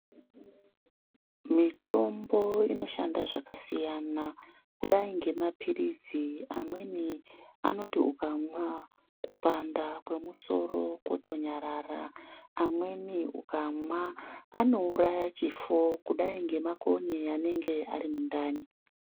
Mitombo inoshanda zvakasiyana kudai ngema pilizi amweni anoti ukamwa kupanda kwemusoro kotonyarara amweni ukamwa anouraya chifo kudai ngemakonye anenge arimundani.